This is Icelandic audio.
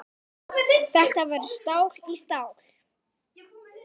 Þetta verður stál í stál.